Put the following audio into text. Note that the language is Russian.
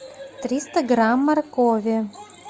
триста грамм моркови